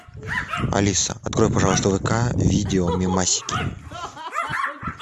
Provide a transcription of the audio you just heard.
алиса открой пожалуйста вк видео мемасики